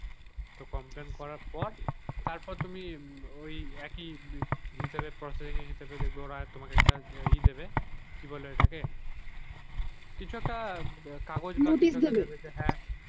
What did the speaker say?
তো complain করার পর তারপর তুমি ওই একেই হিসাবে processing হিসাবে একটা ই দেবে কি বলে ঐটাকে কিছু একটা কাগজ দেবে receipt দেবে?